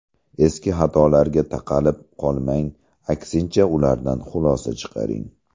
Eski xatolarga taqalib qolmang, aksincha ulardan xulosa chiqaring.